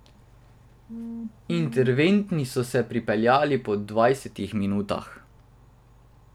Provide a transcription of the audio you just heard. Interventi so se pripeljali po dvajsetih minutah.